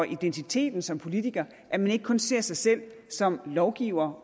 identiteten som politiker at man ikke kun ser sig selv som lovgiver